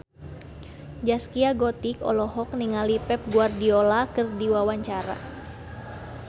Zaskia Gotik olohok ningali Pep Guardiola keur diwawancara